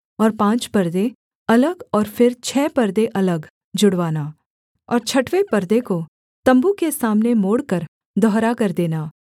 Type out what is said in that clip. और पाँच परदे अलग और फिर छः परदे अलग जुड़वाना और छठवें परदे को तम्बू के सामने मोड़कर दुहरा कर देना